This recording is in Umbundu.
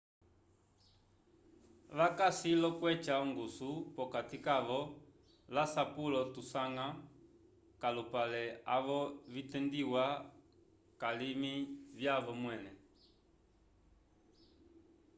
vakasi l'okweca ongusu p'okati kavo l'asapulo tusanga k'alupale avo vitendiwa k'alimi vyavo mwẽle